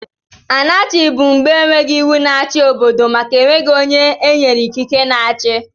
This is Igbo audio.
Anarchi bụ mgbe enweghị iwu na-achi n'obodo màkà enweghi ónyé enyere ikike na-achi.